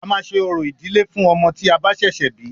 A máa ṣe orò ìdílé fún ọmọ tí a bá ṣẹ̀ṣẹ̀ bí.